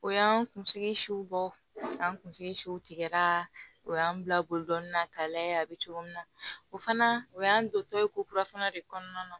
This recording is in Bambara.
O y'an kunsigi siw bɔ an kunsigiw tigɛra o y'an bila boli dɔnni na ka lajɛ a bɛ cogo min na o fana o y'an to tɔ ye ko kura fana de kɔnɔna na